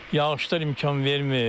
Yağışlar imkan vermir.